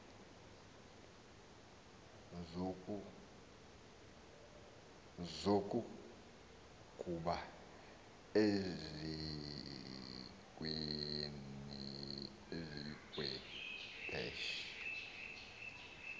zokughuba ezikwi dash